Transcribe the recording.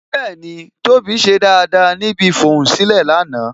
Bẹẹni, tóbi ṣe dáadáa níbi ifohunsilẹ lánàá